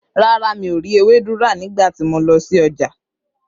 Rárá, mi ò rí ewédú rà nígbà tí mọ lọ sí ọjà.